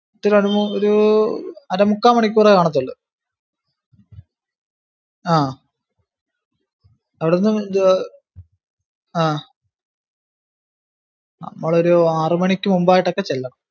ഒരു അര മുക്കാൽ മണിക്കൂറേ കാണാതുള്ളു ആഹ് അവിടുന്ന് ആഹ് നമ്മളൊരു ആറു മണിക്ക് മുന്പായിട്ടു ഒക്കെ ചെല്ലണം.